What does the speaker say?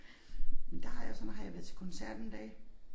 Men der har jeg så når har været til koncert en dag